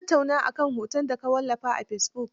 An tattauna a kan hoton da ka wallafa a fesibuk?